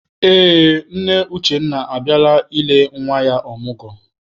Ee, nne Uchenna abịala ile nwa ya ọmụgwọ.